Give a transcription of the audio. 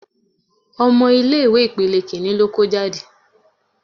Ọmọ ilé ìwé ipele Kínní ló kó jáde.